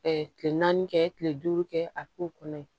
kile naani kɛ kile duuru kɛ a k'o kɔnɔ ye